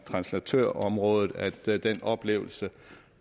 translatørområdet oplever